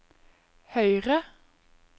høyre